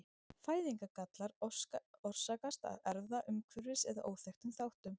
Fæðingargallar orsakast af erfða-, umhverfis- eða óþekktum þáttum.